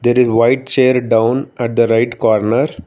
there is white chair down at the right corner